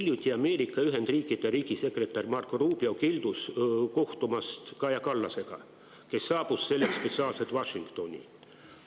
Hiljuti keeldus Ameerika Ühendriikide riigisekretär Marco Rubio kohtumast Kaja Kallasega, kes oli selleks spetsiaalselt Washingtoni saabunud.